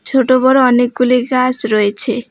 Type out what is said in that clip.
ছোট বড়ো অনেকগুলি গাছ রয়েছে।